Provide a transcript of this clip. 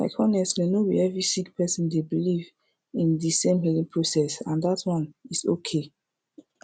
like honestly no bi every sik person dey biliv in di sem healing process and dat one is okay